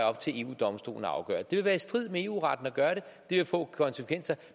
op til eu domstolen at afgøre det vil være i strid med eu retten at gøre det det vil få konsekvenser